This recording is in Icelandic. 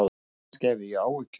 Kannski hafði ég áhyggjur.